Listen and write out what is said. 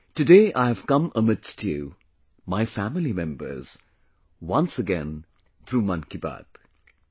Today I have come amidst you, my family members, once again through ‘Mann Ki Baat’